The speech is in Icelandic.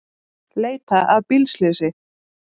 Leita að bílslysi